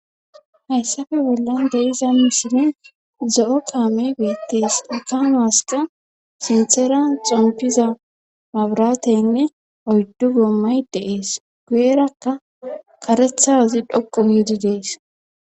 Hayssape bollan deiza misilen zo'o kaame beettees ekano hasta sintheran xompiza mabratenne oyddu goommay deees guyerakka karethazi dhoqu giidi dees